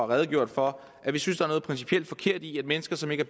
redegjort for at vi synes der er noget principielt forkert i at mennesker som ikke